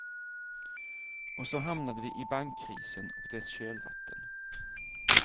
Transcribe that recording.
Och så hamnade vi i bankkrisen och dess kölvatten.